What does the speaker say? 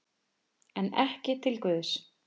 En ekki til Guðs.